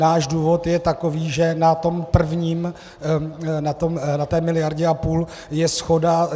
Náš důvod je takový, že na tom prvním, na té miliardě a půl, je shoda.